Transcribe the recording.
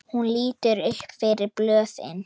Hún lítur upp fyrir blöðin.